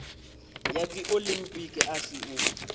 ya dziolimpiki a si u